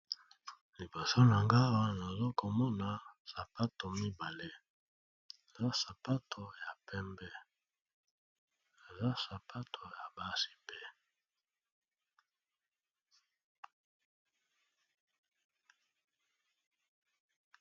Liboso nangai Awa nazokomona sapato mibale eza sapato ya pembe pe yabasi.